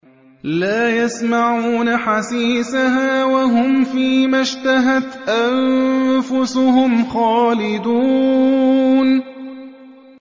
لَا يَسْمَعُونَ حَسِيسَهَا ۖ وَهُمْ فِي مَا اشْتَهَتْ أَنفُسُهُمْ خَالِدُونَ